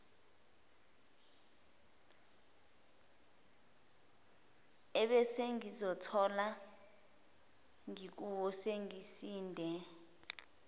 ebesengizozithola ngikuwo sengisinde